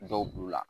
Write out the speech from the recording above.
Dɔw b'u la